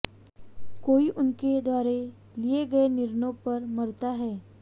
कोई उनके द्वारा लिए गए निर्णयों पर मरता है